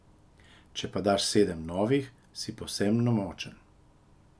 Če pa daš sedem novih, si povsem nemočen.